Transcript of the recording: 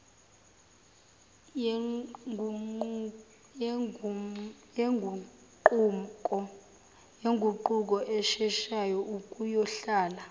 yenguquko esheshayo ukuyohlala